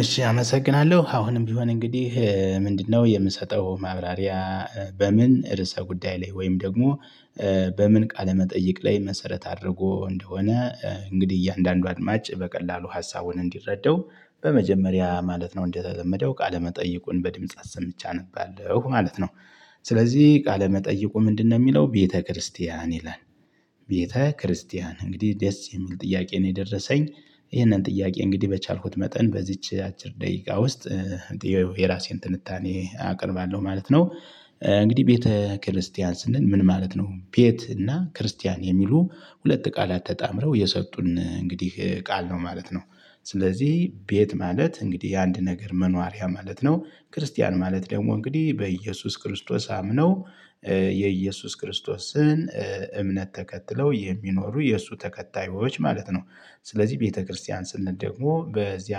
እሺ አመሰግናለሁ አሁንም ቢሆን እንግዲህ ምንድ ነው የምሰጠው ማብራሪያ በምን እርሰ ጉዳይ ላይ ወይም ደግሞ። በምን ቃለ መጠይቅ ላይ መሰረት አድርጎ እንደሆነ እንግዲህ እያንዳንዱ አድማጭ በቀላሉ ሀሳቡን እንዲረዳው በመጀመሪያ ማለት ነው እንደተለመደው ቃለመጠይቁን በድምጽ አሰምቼ አነባለሁ ማለት ነው። ስለዚህ ቃለ መጠይቁ ምንድ ነው ሚለው ቤተክርስቲያን ይላል? ቤተክርስቲያን እንግዲህ ደስ የሚል ጥያቄ ነው የደረሰኝ። ይህንን ጥያቄ እንግዲህ በቻልኩት መጠን በዚች አጭር ደቂቃ ውስጥ የራሴን ትንታኔ አቀርባለሁ ማለት ነው። እንግዲህ ቤተ ክርስቲያን ስንል ምን ማለት ነው? ቤት እና ክርስቲያን የሚሉ ሁለት ቃላት ተጣምረው የሰጡን እንግዲህ ቃል ነው ማለት ነው። ስለዚህ ቤት ማለት እንግዲህ አንድ ነገር መኖሪያ ማለት ነው። ክርስቲያን ማለት ደግሞ እንግዲህ በኢየሱስ ክርስቶስ አምነው የኢየሱስ ክርስቶስን እምነት ተከትለው የሚኖሩ የእሱ ተከታዮች ማለት ነው። ስለዚህ ቤተክርስቲያን ስንት ደግሞ በዚያ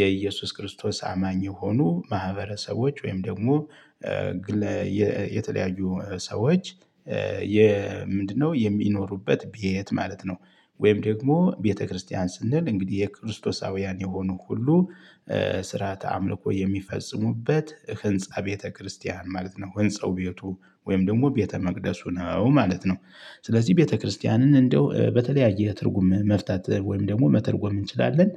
የኢየሱስ ክርስቶስ አማኝ የሆኑ ማህበረሰቦች ወይም ደግሞ የተለያዩ ሰዎች ምንድነው? የሚኖሩበት ቤት ማለት ነው። ወይም ደግሞ ቤተክርስቲያን ስንል እንግዲህ የክርስቶሳውያን የሆኑ ሁሉ ስርዓተ አምልኮ የሚፈጽሙበት ህንፃ ቤተክርስቲያን ማለት ነው። ህንፃው ቤቱ ወይም ደግሞ ቤተ መቅደሱ ነው ማለት ነው። ስለዚህ ቤተክርስቲያንን እንደው በተለያየ ትርጉም መፍታት ወይም ደግሞ መተርጎም እንችላለን።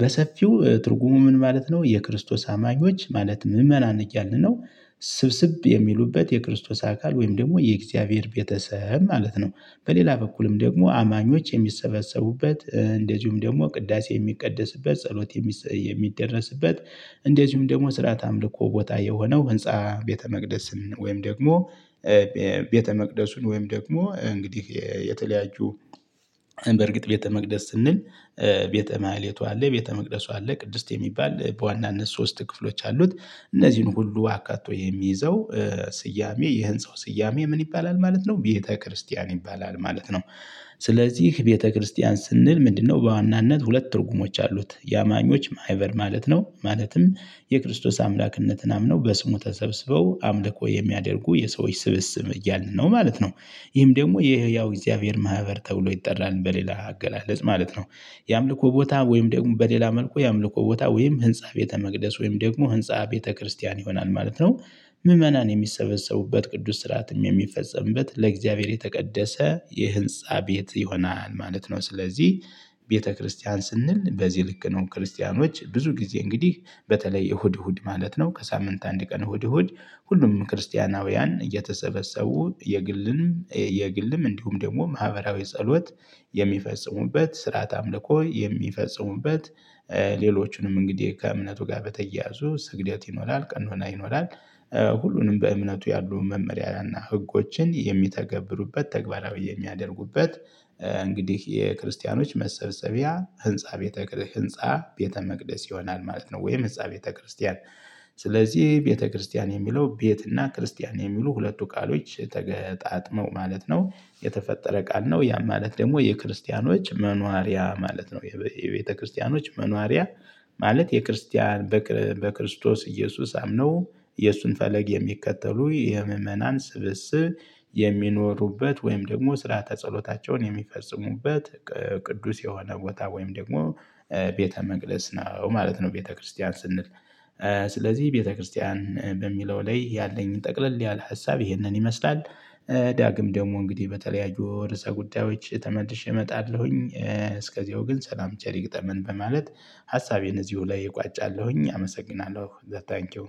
በሰፊው ትርጉሙ ምን ማለት ነው የክርስቶስ አማኞች ማለት ምእመናን እያልን ነው። ስብስብ የሚሉበት የክርስቶስ አካል ወይም ደግሞ የእግዚአብሔር ቤተሰብ ማለት ነው። በሌላ በኩልም ደግሞ አማኞች የሚሰበሰቡበት እንደዚሁም ደግሞ ቅዳሴ የሚቀደስበት ጸሎት የሚደረስበት እንደዚሁም ደግሞ ስርዓተ አምልኮ ቦታ የሆነው ህንፃ። ቤተመቅደስን ወይም ደግሞ ቤተመቅደሱን ወይም ደግሞ እንግዲህ የተለያዩ በርግጥ ቤተ መቅደስ ስንል ቤተ ማኅሌቱ አለ ቤተ መቅደሱ አለ ቅድስት የሚባል በዋናነት ሶስት ክፍሎች አሉት። እነዚህን ሁሉ አካቶ የሚይዘው ስያሜ የህንፃው ስያሜ ምን ይባላል ማለት ነው ቤተክርስቲያን ይባላል ማለት ነው። ስለዚህ ቤተክርስቲያን ስንል ምንድ ነው? በዋናነት ሁለት ትርጉሞች አሉት የአማኞች ማህበር ማለት ነው ማለትም የክርስቶስ አምላክነትን አምነው በስሙ ተሰብስበው አምልኮ የሚያደርጉ የሰዎች ስብስብ እያልን ነው ማለት ነው። ይህም ደግሞ የህያው የእግዚአብሔር ማህበር ተብሎ ይጠራል በሌላ አገላለጽ ማለት ነው። የአምልኮ ቦታ ወይም ደግሞ በሌላ መልኩ የአምልኮ ቦታ ወይም ህንፃ ቤተ መቅደስ ወይም ደግሞ ህንፃ ቤተ ክርስቲያን ይሆናል ማለት ነው። ምዕመናን የሚሰበሰቡበት ቅዱስ ስርአትም የሚፈጸምበት ለእግዚአብሔር የተቀደሰ የህንፃ ቤት ይሆናል ማለት ነው። ስለዚህ ቤተክርስቲያን ስንል በዚህ ልክ ነው ክርስቲያኖች ብዙ ጊዜ እንግዲህ በተለይ እሁድ እሁድ ማለት ነው ከሳምንት አንድ ቀን እሁድ እሁድ ሁሉም ክርስቲያናውያን እየተሰበሰቡ የግልም የግልም እንዲሁም ደግሞ ማህበራዊ ጸሎት የሚፈጽሙበት ስርዓተ አምልኮ የሚፈጽሙበት። ሌሎችንም እንግዲህ ከእምነቱ ጋር በተያያዙ ስግደት ይኖራል ቀኖና ይኖራል። ሁሉንም በእምነቱ ያሉ መመሪያና ህጎችን የሚተገብሩበት ተግባራዊ የሚያደርጉበት። እንግዲህ የክርስቲያኖች መሰብሰቢያ ህንፃ ቤተ መቅደስ ይሆናል ማለት ነው። ወይም ህንፃ ቤተ ክርስቲያን። ስለዚህ ቤተክርስቲያን የሚለው ቤት እና ክርስቲያን የሚሉ ሁለቱ ቃሎች ተገጣጥመው ማለት ነው። የተፈጠረ ቃል ነው ያም ማለት ደግሞ የክርስቲያኖች መኗሪያ ማለት ነው። የቤተክርስቲያኖች መኗሪያ። ማለት የክርስቲያን በክርስቶስ ኢየሱስ አምነው የእሱን ፈለግ የሚከተሉ የምእመናን ስብስብ የሚኖሩበት ወይም ደግሞ ስርዓተ ተጸሎታቸውን የሚፈጽሙበት ቅዱስ የሆነ ቦታ ወይም ደግሞ ቤተ መቅደስ ነው ማለት ነው። ቤተክርስቲያን ስንል። ስለዚህ ቤተክርስቲያን በሚለው ላይ ያለኝን ጠቅለል ያለ ሀሳብ ይሄንን ይመስላል። ዳግም ደግሞ እንግዲህ በተለያዩ ርዕሰ ጉዳዮች ተመልሼ እመጣለሁኝ እስከዚያው ግን ሰላም ቸር ይግጠመን በማለት ሀሳቤን እዚሁ ላይ እቋጫለሁኝ። አመሰግናለሁ ታንኪው።